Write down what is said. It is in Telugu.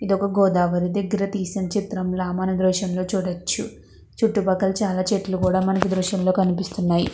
ఇది ఒక గోదావరి దగ్గర తీసినట్టుగా చిత్రం ల మనము చూడవచ్చు. అలాగే చుట్టూ పక్కల చాలా చెట్టులు మనకి కనిపిస్తున్నాయి.